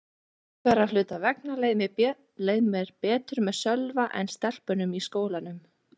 Einhverra hluta vegna leið mér betur með Sölva en stelpunum í skólanum.